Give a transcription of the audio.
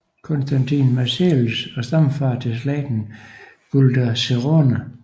Constantin Marselis og stamfader til slægten Güldencrone